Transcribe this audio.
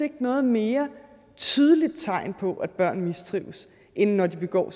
noget mere tydeligt tegn på at børn mistrives end når de begår